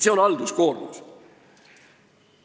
Nii et halduskoormus kasvab.